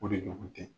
O de ɲɔgɔn tɛ